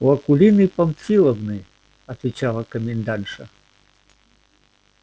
у акулины памфиловны отвечала комендантша